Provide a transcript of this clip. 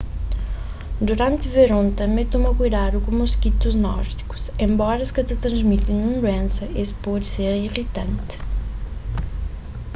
duranti veron tanbê toma kuidadu ku moskitus nórdikus enbora es ka ta transmiti ninhun duénsa es pode ser iritanti